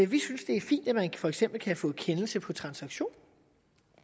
vi synes det er fint at man for eksempel kan få en kendelse på transaktion